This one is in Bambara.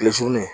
Kile surunnen